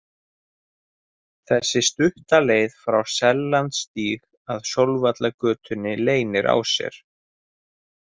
Þessi stutta leið frá Sellandsstíg að Sólvallagötunni leynir á sér.